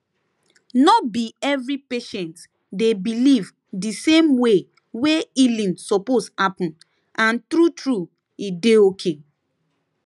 no be every patient dey believe di same way wey healing suppose happen and true true e dey okay